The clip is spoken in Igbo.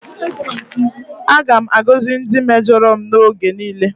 Aga m na-agọzi ndị mejọrọ m oge niile.